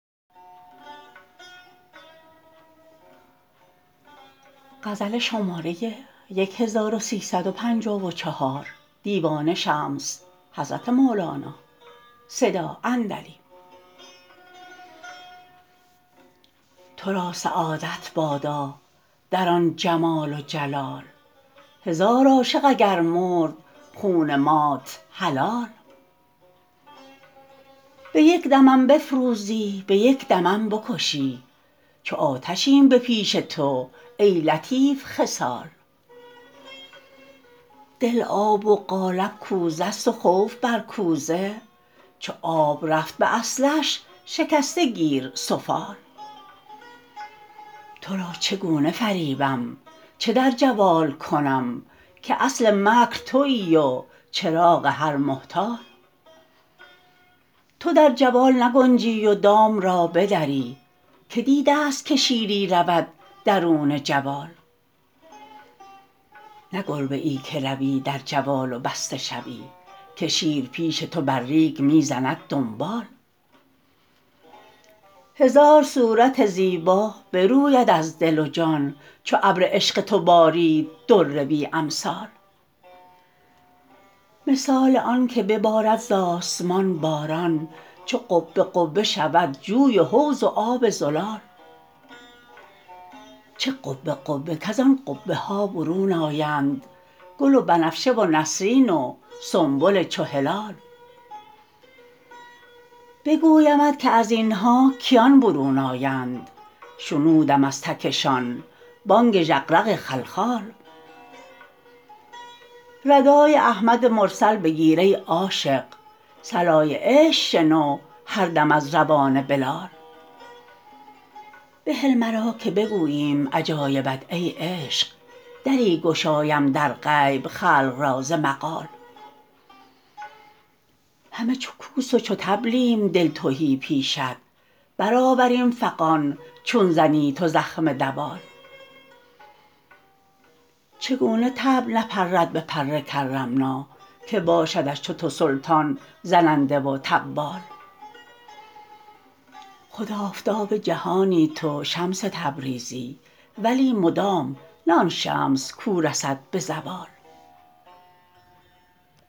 تو را سعادت بادا در آن جمال و جلال هزار عاشق اگر مرد خون مات حلال به یک دمم بفروزی به یک دمم بکشی چو آتشیم به پیش تو ای لطیف خصال دل آب و قالب کوزه ست و خوف بر کوزه چو آب رفت به اصلش شکسته گیر سفال تو را چگونه فریبم چه در جوال کنم که اصل مکر توی و چراغ هر محتال تو در جوال نگنجی و دام را بدری که دیده است که شیری رود درون جوال نه گربه ای که روی در جوال و بسته شوی که شیر پیش تو بر ریگ می زند دنبال هزار صورت زیبا بروید از دل و جان چو ابر عشق تو بارید در بی امثال مثال آنک ببارد ز آسمان باران چو قبه قبه شود جوی و حوض و آب زلال چه قبه قبه کز آن قبه ها برون آیند گل و بنفشه و نسرین و سنبل چو هلال بگویمت که از این ها کیان برون آیند شنودم از تکشان بانگ ژغژغ خلخال ردای احمد مرسل بگیر ای عاشق صلای عشق شنو هر دم از روان بلال بهل مرا که بگوییم عجایبت ای عشق دری گشایم در غیب خلق را ز مقال همه چو کوس و چو طبلیم دل تهی پیشت برآوریم فغان چون زنی تو زخم دوال چگونه طبل نپرد بپر کرمنا که باشدش چو تو سلطان زننده و طبال خود آفتاب جهانی تو شمس تبریزی ولی مدام نه آن شمس کو رسد به زوال